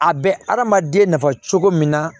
A bɛ adamaden nafa cogo min na